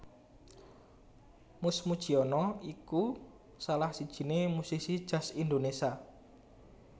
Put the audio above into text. Mus Mujiono iku salah sijiné musisi jazz Indonésia